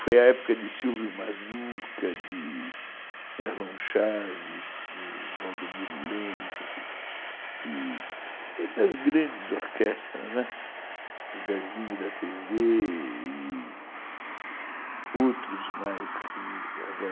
Foi a época de Silvio Mazuca, de Erlon Chaves, de Valdomiro Lenk, de das grandes orquestras, né, Zezinho da Tê zê e outros mais que agora